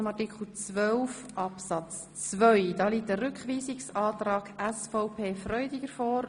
Zu Artikel 12 Absatz 2 liegt ein Rückweisungsantrag SVP Freudiger vor.